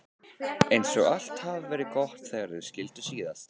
Eins og allt hafi verið gott þegar þau skildu síðast.